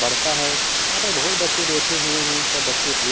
पढ़ता है यहां पे बहुत बच्चे बैठे हुए हैं सब बच्चे ड्रे --